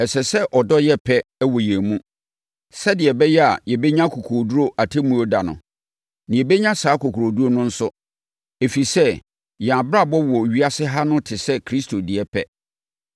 Ɛsɛ sɛ ɔdɔ yɛ pɛ wɔ yɛn mu sɛdeɛ ɛbɛyɛ a yɛbɛnya akokoɔduru Atemmuo da no. Na yɛbɛnya saa akokoɔduru no nso, ɛfiri sɛ, yɛn abrabɔ wɔ ewiase ha no te sɛ Kristo deɛ pɛ.